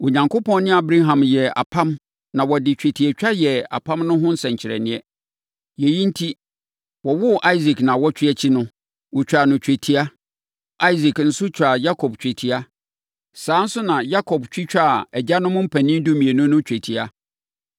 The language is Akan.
Onyankopɔn ne Abraham yɛɛ apam na wɔde twetiatwa yɛɛ apam no ho nsɛnkyerɛnneɛ. Yei enti, wɔwoo Isak nnawɔtwe akyi no, wɔtwaa no twetia; Isak nso twaa Yakob twetia, saa ara nso na Yakob twitwaa agyanom mpanin dumienu no twetia.